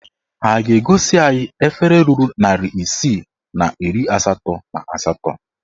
Ha a ga-egosi anyị efere ruru narị isii na iri asatọ na asatọ?